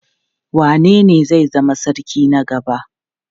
Wanene zai zama sarki na gaba?